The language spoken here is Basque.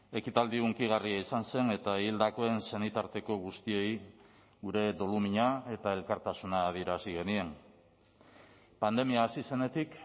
ekitaldi hunkigarria izan zen eta hildakoen senitarteko guztiei gure dolumina eta elkartasuna adierazi genien pandemia hasi zenetik